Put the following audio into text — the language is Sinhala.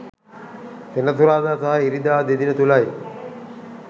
සෙනසුරාදා සහ ඉරිදා දෙදින තුළයි